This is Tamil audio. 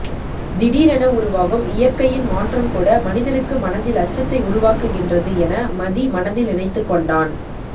திடிரென உருவாகும் இயற்கையின் மாற்றம் கூட மனிதருக்கு மனதில் அச்சத்தை உருவாக்குகின்றது என மதி மனதில் நினைத்துக்கொண்டான்